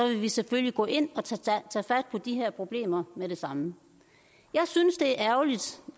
vi selvfølgelig gå ind og tage fat på de her problemer med det samme jeg synes det er ærgerligt